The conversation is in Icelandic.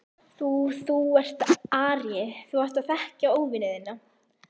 Þú. þú ert aríi, þú átt að þekkja óvini þína.